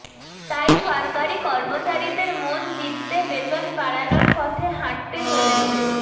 তাই সরকারি কর্মচারীদের মন জিততে বেতন বাড়ানোর পথে হাঁটতে চলেছে